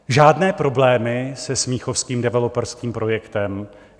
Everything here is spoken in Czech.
Žádné problémy se smíchovským developerským projektem.